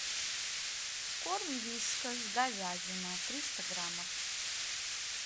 корм вискас говядина триста граммов